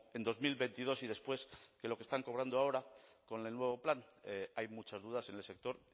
en dos mil veintidós y después de lo que están cobrando ahora con el nuevo plan hay muchas dudas en el sector